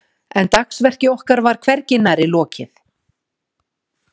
En dagsverki okkar var hvergi nærri lokið.